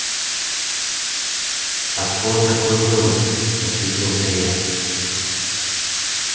откуда такой вывод восхитился я